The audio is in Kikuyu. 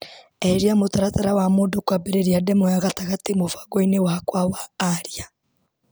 Eheria mũtaratara wa mũndũ kwambĩrĩria ndemwa ya gatagate mũbango-inĩ wakwa wa aria.